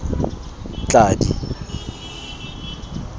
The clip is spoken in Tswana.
tladi